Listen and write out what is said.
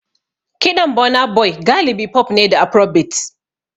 Kiɗan Burna Boy galibi pop ne da Afrobeats.